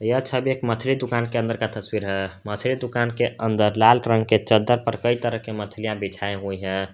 यह छवि एक मछली दुकान के अंदर का तस्वीर है मछली दुकान के अंदर लाल रंग के चद्दर पर कई तरह के मछलियां बिछाए हुए हैं।